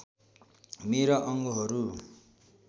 मेरा अङ्गहरू